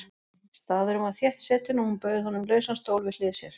Staðurinn var þéttsetinn og hún bauð honum lausan stól við hlið sér.